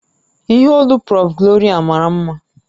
Ìhè olu prọ̀f Gloria mara mma